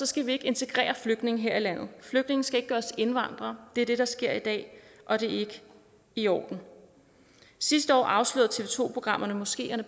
skal vi ikke integrere flygtninge her i landet flygtninge skal ikke gøres til indvandrere det er det der sker i dag og det er ikke i orden sidste år afslørede tv to programmerne moskeerne